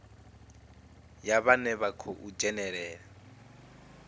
ya vhane vha khou dzhenelela